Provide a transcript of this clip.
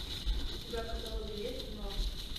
у тебя в каталоге есть мост